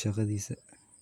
shaqadiisa.